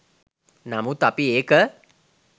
නමුත් අපි ඒක